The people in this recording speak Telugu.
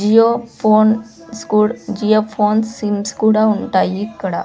జియో ఫోన్ స్కోడ్ జియో ఫోన్స్ సిమ్స్ కూడా ఉంటాయి ఇక్కడ.